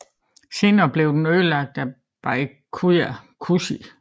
Senere blev den ødelagt af Byakuya Kuchiki